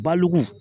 Balugu